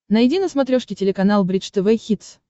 найди на смотрешке телеканал бридж тв хитс